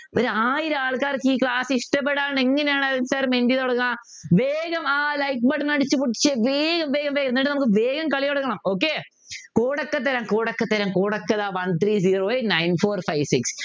ഒരായിരം ആൾക്കാർക്ക് ഈ class ഇഷ്ടപ്പെടാതെ എങ്ങനെയാണ് അനിൽ sir മെൻറ്റി തുടങ്ങുക വേഗം ആ like button അടിച്ചുപൊട്ടിച്ച് വേഗം വേഗം വേഗം എന്നിട്ട് നമുക്ക് വേഗം കളി തുടങ്ങണം okaycode ഒക്കെ തരാം code ഒക്കെ തരാൻ code ഒകെ ഇതാ One three zero eight nine four five six